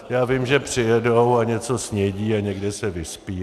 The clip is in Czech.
Já vím, že přijedou a něco snědí a někde se vyspí.